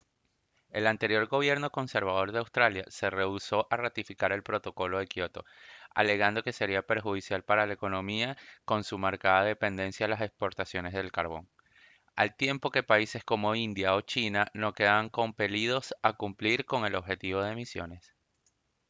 el anterior gobierno conservador de australia se rehusó a ratificar el protocolo de kioto alegando que sería perjudicial para la economía con su marcada dependencia de las exportaciones de carbón al tiempo que países como india o china no quedaban compelidos a cumplir con objetivos de emisiones